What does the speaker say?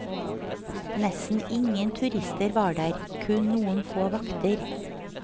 Nesten ingen turister var der, kun noen få vakter.